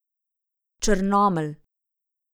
Črnomelj.